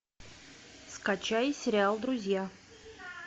скачай сериал друзья